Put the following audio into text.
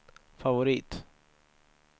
favorit